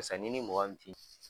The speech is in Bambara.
Sisan ni ni mɔgɔ